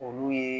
Olu ye